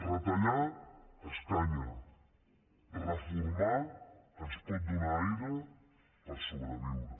retallar escanya reformar ens pot donar aire per sobreviure